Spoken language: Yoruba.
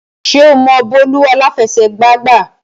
Ṣé o mọ bọ́ọ̀lù àláfẹsẹ̀gbá gbá?